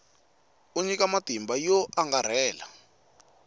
ku nyika matimba yo angarhela